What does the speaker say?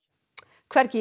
hvergi í